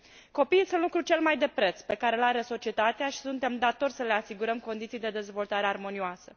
Copiii sunt lucrul cel mai de preț pe care îl are societatea și suntem datori să le asigurăm condiții de dezvoltare armonioasă.